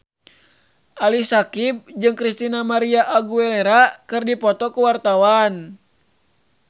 Ali Syakieb jeung Christina María Aguilera keur dipoto ku wartawan